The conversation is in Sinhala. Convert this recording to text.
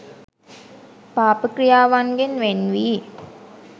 පාප ක්‍රියාවන්ගෙන් වෙන් වී